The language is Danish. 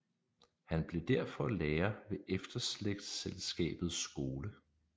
Han blev derfor lærer ved Efterslægtselskabets Skole